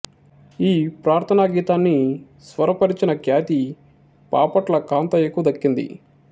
ఈ ప్రార్థనా గీతాన్ని స్వరపరచిన ఖ్యాతి పాపట్ల కాంతయ్యకు దక్కింది